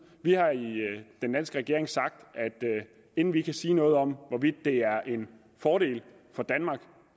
vi har i den danske regering sagt at inden vi kan sige noget om hvorvidt det er en fordel for danmark